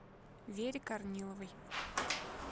вере корниловой